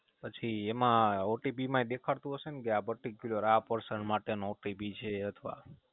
પછી એમાં OTP માય દેખાડતું હશેને કે આ Particular આ Person માટેનો OTP છે અથવા